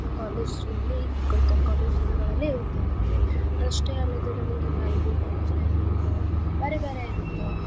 College ನಲ್ಲೇ ಗೊತ್ ಆಕ್ಕಾವ college ದಿನಗಳಲ್ಲೇ ಗೊತ್ ಆಗುತ್ತೆ ಅಷ್ಟೇ ಅಲ್ದೆ ನಮ್ಗೆಲ್ಲಾರ್ಗೂ college life ಅಂದ್ರ. ಬ್ಯಾರೆ ಬ್ಯಾರೆ ಇರುತ್ತ.